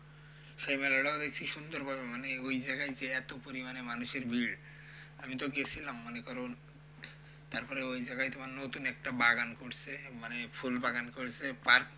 সেই মেলাটাও দেখছি সুন্দরভাবে মানে ওই জায়গায় যে এতো পরিমাণে মানুষের ভিড়, আমিতো গেছিলাম মনে করুন, তারপরে ওই জায়গায় তোমার নতুন একটা বাগান করসে মানে ফুলবাগান করসে,